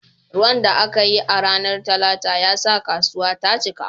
Ruwan da aka yi a ranar Talata ya sa kasuwar ta cika